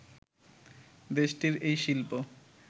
দেশটির এই শিল্প